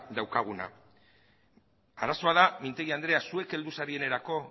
daukaguna arazoa da mintegi andrea zuek heldu zaretenerako